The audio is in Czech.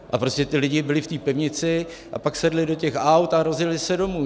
A prostě ti lidé byli v té pivnici a pak sedli do těch aut a rozjeli se domů.